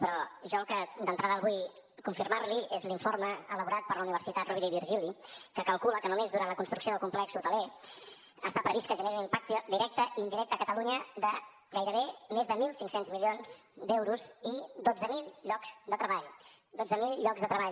però jo el que d’entrada vull confirmar li és l’informe elaborat per la universitat rovira i virgili que calcula que només durant la construcció del complex hoteler està previst que es generi un impacte directe i indirecte a catalunya de gairebé més de mil cinc cents milions d’euros i dotze mil llocs de treball dotze mil llocs de treball